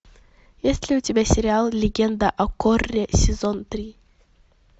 есть ли у тебя сериал легенда о корре сезон три